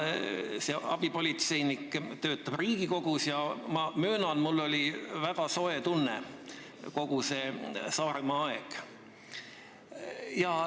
See abipolitseinik töötab Riigikogus ja ma möönan, mul oli väga soe tunne kogu see Saaremaal oldud aeg.